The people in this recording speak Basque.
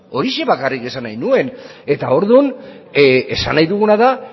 horixe bakarrik esan nahi nuen eta orduan esan nahi duguna da